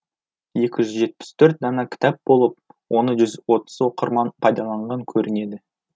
екі жүз жетпіс төрт дана кітап болып оны жүз отыз оқырман пайдаланған көрінеді